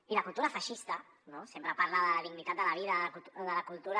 i la cultura feixista no sempre parla de la dignitat de la vida de la cultura